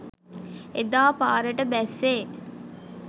එදා පාරට බැස්සේ